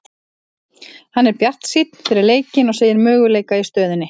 Hann er bjartsýnn fyrir leikinn og segir möguleika í stöðunni.